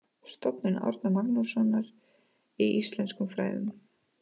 Stofnun Árna Magnússonar í íslenskum fræðum.